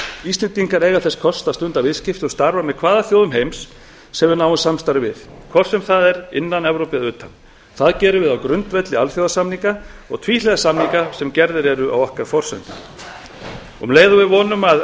íslendingar eiga þess kost að stunda viðskipti og starfa með hvaða þjóðum heims sem við náum samstarfi við hvort sem það er innan evrópu eða utan það gerum við á grundvelli alþjóðasamninga og tvíhliða samninga sem gerðir eru á okkar forsendum um leið og við vonum að